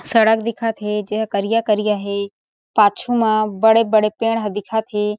सड़क दिखत है जे ह करिया-करिया है पाछु मा बड़े-बड़े पेड़ ह दिखत हे ।